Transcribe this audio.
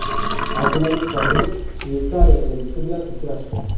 Abdulaziz Komilov Shveysariya elchisi bilan uchrashdi.